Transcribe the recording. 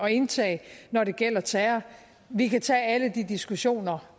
at indtage når det gælder terror vi kan tage alle de diskussioner